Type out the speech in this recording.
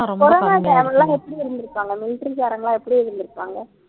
corona time ல எப்படி இருந்திருப்பாங்க military காரங்க எல்லாம் எப்படி இருந்திருப்பாங்க